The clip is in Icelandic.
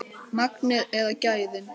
Magnið eða gæðin?